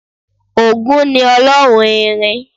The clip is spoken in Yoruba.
Ògún ni ọlọ́run irin